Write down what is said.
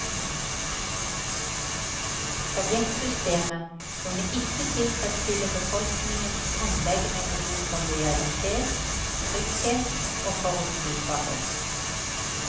Sovjetsystemet kunne ikke tilfredsstille befolkningens grunnleggende behov for lojalitet, trygghet og forutsigbarhet.